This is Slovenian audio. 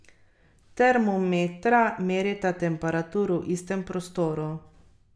Termometra merita temperaturo v istem prostoru.